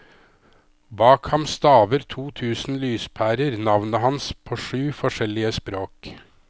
Bak ham staver to tusen lyspærer navnet hans på sju forskjellige språk.